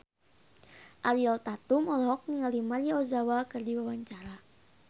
Ariel Tatum olohok ningali Maria Ozawa keur diwawancara